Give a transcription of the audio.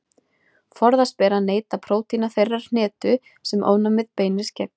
Forðast ber að neyta prótína þeirrar hnetu sem ofnæmið beinist gegn.